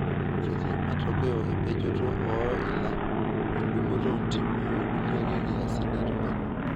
Ketii matokeo empejoto oo ila, endungoto oontimi okulie ake kiasin e tungani.